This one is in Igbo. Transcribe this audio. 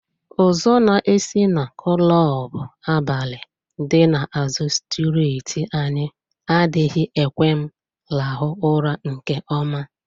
Ụzụ na-esi na klọbụ abalị dị na azụ strịtị anyị adịghị ekwe m rahụ ụra nke ọma.